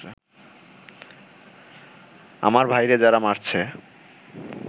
আমার ভাইরে যারা মারছে